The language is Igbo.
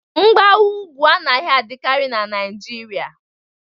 Mgbawa ugwu anaghị adịkarị na Naịjirịa